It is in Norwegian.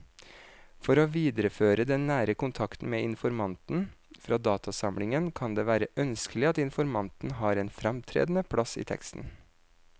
For å videreføre den nære kontakten med informanten fra datainnsamlingen kan det være ønskelig at informanten har en fremtredende plass i teksten.